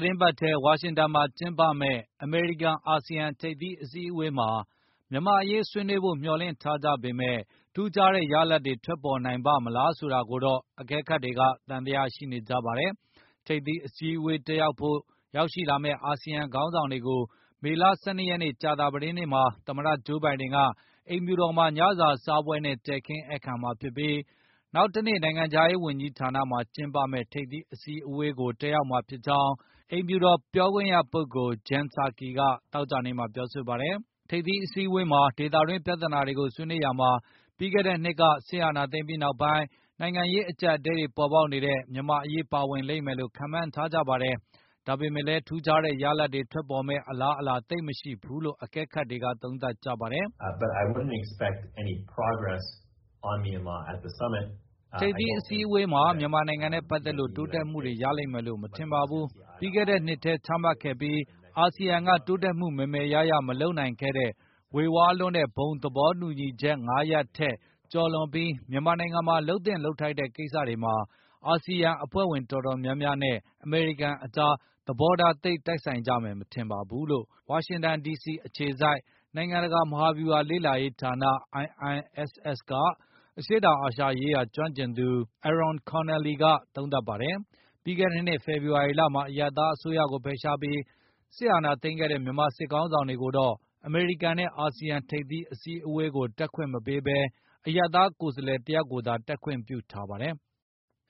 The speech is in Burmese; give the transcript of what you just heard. တင်းပတ်ထဲ ဝါရှင်တန် ဒီစီမှာ ကျင်းပမယ့် အမေရိကန်၊ အာဆီယံ ထိပ်သီး အစည်းအဝေးမှာ မြန်မာ့အရေး ဆွေးနွေးဖို့ မျှော်လင့်ထားကြပေမဲ့ ထူးခြားတဲ့ ရလဒ်တွေ ထွက်ပေါ်နိုင်ပါ့မလား ဆိုတာကိုတော့ အကဲခတ်တွေ သံသယ ရှိနေကြပါတယ်။ ထိပ်သီးအစည်းအဝေး တက်ရောက်ဖို့ ရောက်ရှိလာမယ့် အာဆီယံ ခေါင်းဆောင်တွေကို မေလ ၁၂ ရက်နေ့ ကြာသပတေးနေ့မှာ သမ္မတဂျိုးဘိုင်ဒင်က အိမ်ဖြူတော်မှာ ညစာစားပွဲနဲ့ တည်ခင်းဧည့်ခံမှာဖြစ်ပြီး၊ နောက်တနေ့ နိုင်ငံခြားရေးဝန်ကြီးဌာနမှာ ကျင်းပမယ့် ထိပ်သီး အစည်းအဝေးကိုလည်း တက်ရောက်မှာဖြစ်ကြောင်း အိမ်ဖြူတော်ပြောခွင့်ရပုဂ္ဂိုလ် Jen Psaki က သောကြာနေ့မှာပြောဆိုပါတယ်။ ထိပ်သီးအစည်းအဝေးအတွင်း ဒေသတွင်းပြဿနာတွေကို ဆွေးနွေးရာမှာ ပြီးခဲ့တဲ့နှစ်က စစ်အာဏာသိမ်းပြီးနောက်ပိုင်း နိုင်ငံရေး အကျပ်အတည်းတွေ ပေါ်ပေါက်နေတဲ့ မြန်မာ့အရေး ပါဝင်လိမ့်မယ်လို့လည်း ခန့်မှန်းထားကြပါတယ်။ ဒါပေမဲ့လည်း ထူးခြားတဲ့ ရလဒ်တွေ ထွက်ပေါ်မယ့် အလားအလာ သိပ်မရှိဘူးလို့ အကဲခတ်တွေက သုံးသပ်ကြပါတယ်။ “ထိပ်သီးအစည်းအဝေးမှာ မြန်မာနိုင်ငံနဲ့ ပတ်သက်လို့ တိုးတက်မှုတွေ ရလိမ့်မယ်လို့ မထင်ပါဘူး။ ပြီးခဲ့တဲ့နှစ်ထဲ ချမှတ်ခဲ့ပြီး၊ အာဆီယံက တိုးတက်မှု မယ်မယ်ရရ မလုပ်နိုင်ခဲ့တဲ့ ဝေဝါးလွန်းတဲ့ ဘုံသဘောတူညီချက် ၅ ရပ်ထက် ကျော်လွန်ပြီး မြန်မာနိုင်ငံမှာ လုပ်သင့်လုပ်ထိုက်တဲ့ ကိစ္စတွေမှာ အာဆီယံ အဖွဲ့ဝင် တော်တော်များများနဲ့ အမေရိကန်ကြား သဘောထား သိပ်တိုက်ဆိုင်ကြမယ် မထင်ပါဘူး။” လို့ ဝါရှင်တန် ဒီစီအခြေစိုက် နိုင်ငံတကာ မဟာဗျူဟာလေ့လာရေးဌာန IISS က အရှေ့တောင်အာရှရေးရာ ကျွမ်းကျင်သူ Arron Connelly က သုံးသပ်ပါတယ်။ ပြီးခဲ့တဲ့နှစ် ဖေဖော်ဝါရီလမှာ အရပ်သား အစိုးရကို ဖယ်ရှားပြီး စစ်အာဏာသိမ်းခဲ့တဲ့ မြန်မာစစ်ခေါင်းဆောင်တွေကိုတော့ အမေရိကန်နဲ့ အာဆီယံ ထိပ်သီး အစည်းအဝေးကို တက်ခွင့်မပေးဘဲ၊ အရပ်သားကိုယ်စားလှယ် တယောက်ယောက်ကိုသာ တက်ခွင့်ပြုထားပါတယ်။